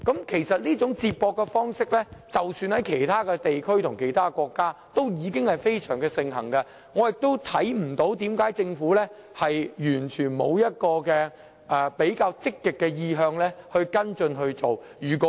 其實，這種接駁方式在其他地區或國家已非常盛行，我亦看不到為何政府完全沒有比較積極的意向跟進這做法。